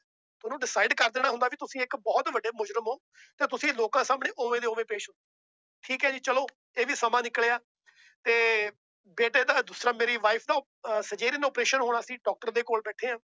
ਤੁਹਾਨੂੰ decide ਕਰ ਦੇਣਾ ਹੁੰਦਾ ਵੀ ਤੁਸੀਂ ਇੱਕ ਬਹੁਤ ਵੱਡੇ ਮੁਜ਼ਰਿਮ ਹੋ ਤੇ ਤੁਸੀਂ ਲੋਕਾਂ ਸਾਹਮਣੇ ਉਵੇਂ ਦੀ ਉਵੇਂ ਪੇਸ਼, ਠੀਕ ਹੈ ਜੀ ਚਲੋ ਇਹ ਵੀ ਸਮਾਂ ਨਿਕਲਿਆ ਤੇ ਬੇਟੇ ਦਾ ਦੂਸਰਾ ਮੇਰੀ wife ਅਹ operation ਹੋਣਾ ਸੀ doctor ਦੇ ਕੋਲ ਬੈਠੇ ਹਾਂ